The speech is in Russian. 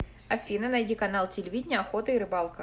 афина найди канал телевидения охота и рыбалка